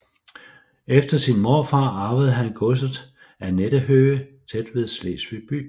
Efter sin morfar arvede han godset Annettenhöhe tæt ved Slesvig by